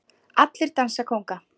Allir dansa kónga